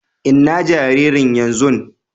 Inna jaririn yanzun?